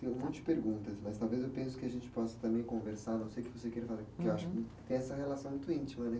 Tem um monte de perguntas, mas talvez eu penso que a gente possa também conversar, a não ser que você queira, porque eu acho que tem essa relação muito íntima, né?